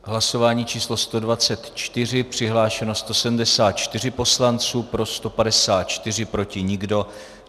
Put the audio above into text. Hlasování číslo 124, přihlášeno 174 poslanců, pro 154, proti nikdo.